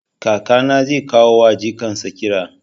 Kakana zai koya wa jikan sa ƙira